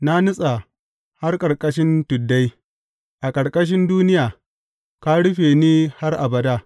Na nutsa har ƙarƙashin tuddai; a ƙarƙashin duniya, ka rufe ni har abada.